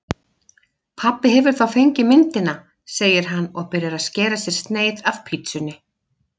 Pabbi hefur þá fengið myndina, segir hann og byrjar að skera sér sneið af pitsunni.